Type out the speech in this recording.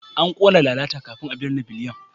An kona lalata kafin a binne Biliyan.